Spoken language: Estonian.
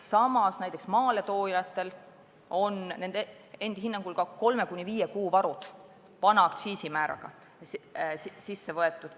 Samas on maaletoojatel nende endi hinnangul kolme kuni viie kuu varud vana aktsiisimääraga olemas.